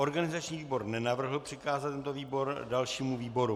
Organizační výbor nenavrhl přikázat tento návrh dalšímu výboru.